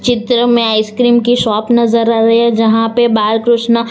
चित्र में आइसक्रीम की शॉप नजर आ रही हैं जहां पे बाल कृष्णा--